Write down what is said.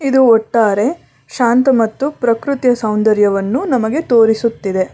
ಇದು ಒಟ್ಟಾರೆ ಶಾಂತ ಮತ್ತು ಪ್ರಕೃತಿ ಸೌಂದರ್ಯವನ್ನು ನಮಗೆ ತೋರಿಸುತ್ತದೆ.